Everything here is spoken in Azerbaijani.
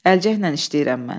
Əlcəklə işləyirəm mən.